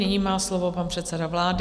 Nyní má slovo pan předseda vlády.